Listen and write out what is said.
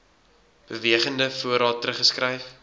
bewegende voorraad teruggeskryf